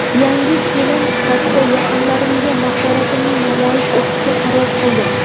yangi kelin sifatida yaqinlarimga mahoratimni namoyish etishga qaror qildim.